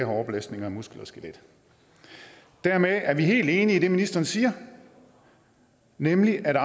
har overbelastninger af muskler og skelet dermed er vi helt enige i det ministeren siger nemlig at